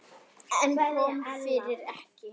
En kom fyrir ekki.